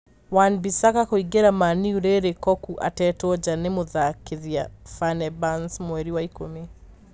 Wan-Bissaka kũingĩra Man-U rĩrĩ Cocu atetwo nja nĩ mũthakithia Fenerbahce mweri wa ikũmi